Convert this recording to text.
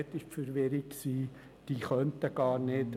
Auch diese waren verwirrt.